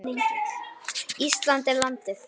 Ísland er landið.